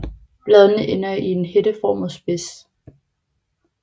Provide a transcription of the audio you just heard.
Bladene ender i en hætteformet spids